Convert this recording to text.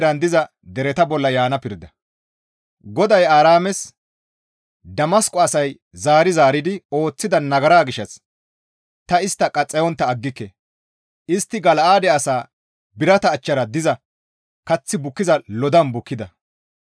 GODAY Aaraames, «Damasqo asay zaari zaaridi ooththida nagara gishshas ta istta qaxxayontta aggike; istti Gala7aade asaa birata achchara diza kath bukkiza lodan bukkida.